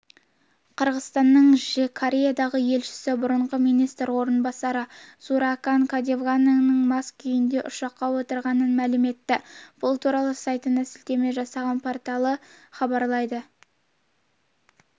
қырғызстанның кореядағы елшісі бұрынғы министр орынбасары зууракан каденованың мас күйінде ұшаққа отырғанын мәлім етті бұл туралы сайтына сілтеме жасаған порталы хабарлайды